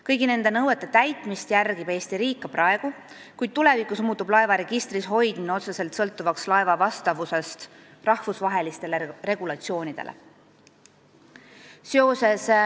Kõiki neid nõudeid järgib Eesti riik ka praegu, kuid tulevikus muutub laeva registris hoidmine otseselt sõltuvaks laeva vastavusest rahvusvahelistele regulatsioonidele.